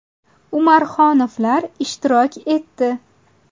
Umarxonovlar ishtirok etdi.